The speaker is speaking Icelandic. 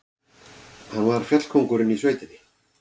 Hann var fjallkóngurinn í sveitinni.